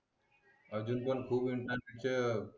अजून पण खूप इंटरनेटच्या